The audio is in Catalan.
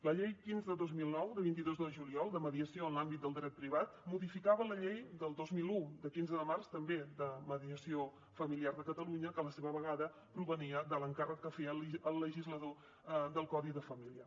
la llei quinze dos mil nou de vint dos de juliol de mediació en l’àmbit del dret privat modificava la llei del dos mil un de quinze de març també de mediació familiar de catalunya que a la seva vegada provenia de l’encàrrec que feia el legislador del codi de família